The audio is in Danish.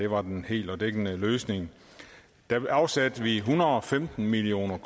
var en hel og dækkende løsning da afsatte vi en hundrede og femten million